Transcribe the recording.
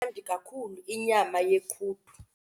Imnandi kakhulu inyama yequdu.